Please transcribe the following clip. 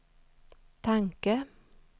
tanke